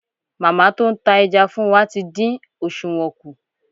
Màmá tó ń ta ẹja fún wa tí dín òsùwọ́n kù.